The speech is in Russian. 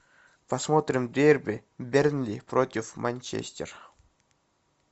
посмотрим дерби бернли против манчестер